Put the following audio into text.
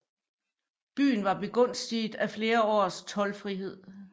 Byen var begunstiget af flere års toldfrihed